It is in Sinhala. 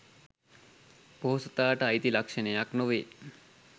පොහොසතාට අයිති ලක්ෂණයක් නොවේ